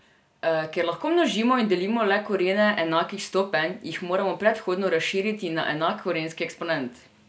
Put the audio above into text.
Ker lahko množimo in delimo le korene enakih stopenj, jih moramo predhodno razširiti na enak korenski eksponent.